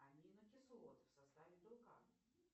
аминокислоты в составе белка